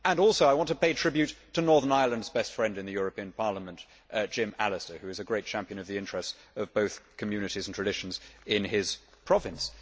I also want to pay tribute to Northern Ireland's best friend in the European Parliament, Jim Allister, who is a great champion of the interests of both communities and traditions in his province.